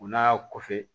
O n'a kɔfɛ